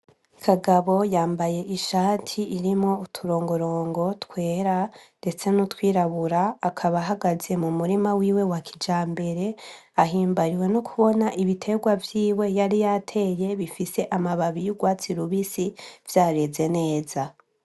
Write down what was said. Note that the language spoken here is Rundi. Kagabo yambaye ishati irimwo uturongorongo twera, ndetse n'utwirabura akaba hagaze mu murima wiwe wa kija mbere ahimbariwe no kubona ibiterwa vyiwe yari yateye bifise amababi y'urwatsi rubisi vyareze neza.